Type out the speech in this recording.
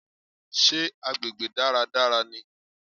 Sé agbègbè dáradára ni?